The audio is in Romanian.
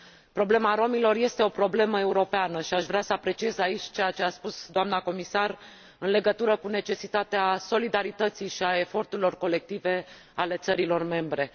Problema romilor este o problemă europeană și aș vrea să apreciez aici ceea ce a spus doamna comisar în legătură cu necesitatea solidarității și a eforturilor colective ale țărilor membre.